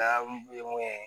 mun ye